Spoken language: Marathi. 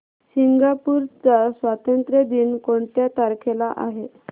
सिंगापूर चा स्वातंत्र्य दिन कोणत्या तारखेला आहे